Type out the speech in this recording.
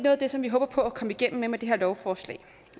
af det som vi håber på at komme igennem med med det her lovforslag